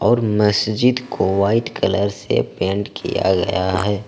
और मस्जिद को व्हाइट कलर से पेंट किया गया है।